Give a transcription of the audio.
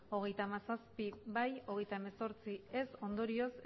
hogeita hamazazpi ez hogeita hemezortzi ondorioz